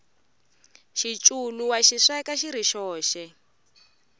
xiculu wa xi sweka xiri xoxe